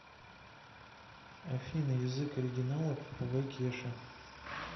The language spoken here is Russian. афина язык оригинала попугай кеша